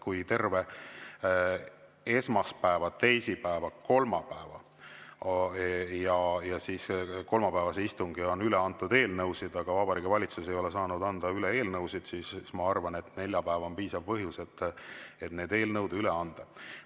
Kui terve esmaspäeva, teisipäeva ja kolmapäeva istung on üle antud eelnõusid, aga Vabariigi Valitsus ei ole saanud anda üle eelnõusid, siis ma arvan, et neljapäeva on piisav põhjus, et need eelnõud üle anda.